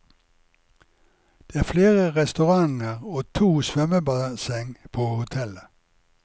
Det er flere restauranter og to svømmebasseng på hotellet.